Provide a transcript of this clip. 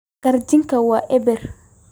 Karjanka waa eebeer.